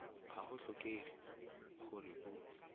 ga go tlhokege gore o